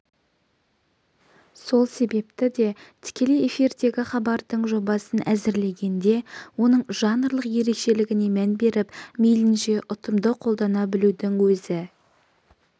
сол себепті де тікелей эфирдегі хабардың жобасын әзірлегенде оның жанрлық ерекшелігіне мән беріп мейлінше ұтымды қолдана білудің өзі